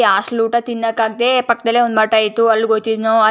hostel ಊಟ ತಿನ್ನೋಕ್ಕಾಗದೆ ಪಕ್ಕದಲ್ಲೇ ಒಂದು ಮಠ ಇತ್ತು ಅಲ್ಲಿಗೆ ಹೋಯ್ತಿದ್ವಿ --